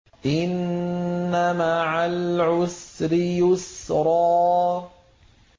إِنَّ مَعَ الْعُسْرِ يُسْرًا